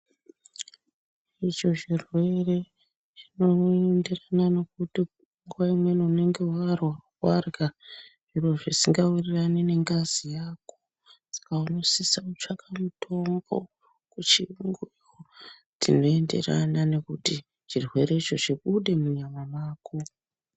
Izvo zvirwere zvinoenderana nekuti nguwa imweni unenge warha zviro zvisingawirirani nengazi yako saka unosisa kutsvaka mitombo kuchiyungu dzinoenderana nekuti chirwerecho chibude munyama mako.